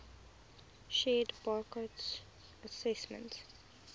shared burckhardt's assessment